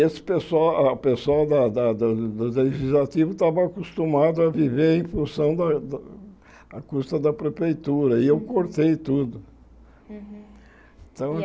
E esse pessoal o pessoal da da do Legislativo estava acostumado a viver em função da da a custa da prefeitura e eu cortei tudo. Uhum Então